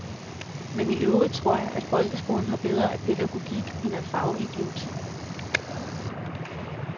Men i øvrigt tror jeg, at folkeskolen har bedre af pædagogik end af fagidioti.